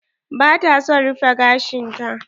Ba ta son rufe gashin ta.